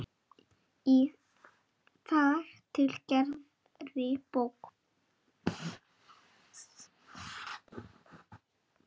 Í þar til gerðri bók.